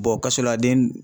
Bɔn kasoladen